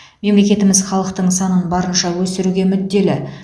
мемлекетіміз халықтың санын барынша өсіруге мүдделі